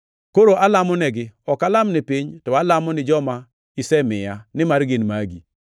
Koro alamonegi. Ok alam ni piny, to alamo ni joma isemiya, nimar gin magi.